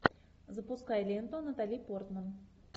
запускай ленту натали портман